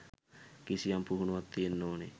කිසියම් පුහුණුවක් තියෙන්න ඕනෙ.